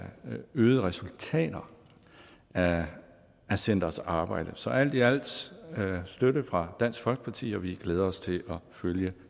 øgede resultater af centerets arbejde så alt i alt støtte fra dansk folkeparti og vi glæder os til at følge